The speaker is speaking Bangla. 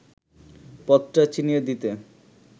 পথটা চিনিয়ে দিতে